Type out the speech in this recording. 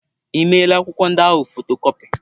Ị meela akwụkwọ ndị ahụ fotokọpi?